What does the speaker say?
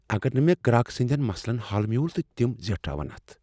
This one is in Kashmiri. اگر نہٕ مےٚ گراک سٕندٮ۪ن مسلن حل میوٗل تہٕ تِم زیٹھراون اتھ؟